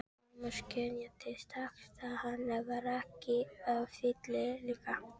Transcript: Thomas skynjaði strax að hann var ekki fyllilega velkominn.